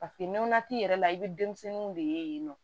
Paseke nɔnɔ t'i yɛrɛ la i bɛ denmisɛnninw de ye yen nɔ